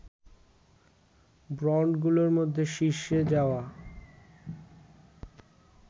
ব্র্যন্ডগুলোর মধ্যে শীর্ষে যাওয়া